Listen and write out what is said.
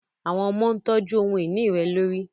Awọn ọmọ ntọju ohun-ini rẹ lori